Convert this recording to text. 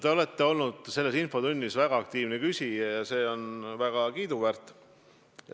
Te olete olnud selles infotunnis väga aktiivne küsija ja see on väga kiiduväärt.